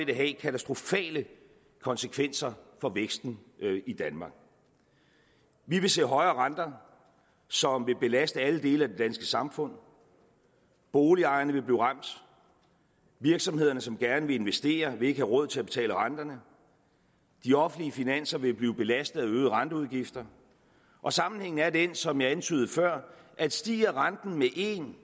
det have katastrofale konsekvenser for væksten i danmark vi vil se højere renter som vil belaste alle dele af det danske samfund boligejerne vil blive ramt virksomheder som gerne vil investere vil ikke have råd til at betale renterne de offentlige finanser vil blive belastet af øgede renteudgifter og sammenhængen er den som jeg antydede før at stiger renten med en